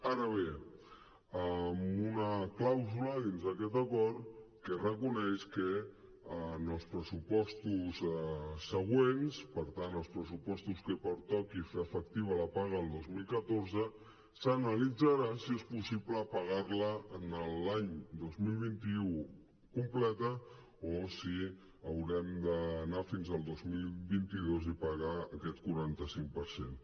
ara bé amb una clàusula dins d’aquest acord que reconeix que en els pressupostos següents per tant els pressupostos en què pertoqui fer efectiva la paga del dos cents i un coma quatre s’analitzarà si és possible pagar la l’any dos mil vint u completa o si haurem d’anar fins al dos mil vint dos i pagar aquest quaranta cinc per cent